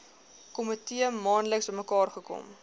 komitee maandeliks bymekaarkom